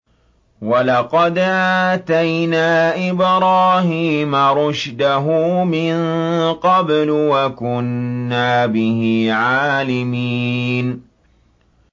۞ وَلَقَدْ آتَيْنَا إِبْرَاهِيمَ رُشْدَهُ مِن قَبْلُ وَكُنَّا بِهِ عَالِمِينَ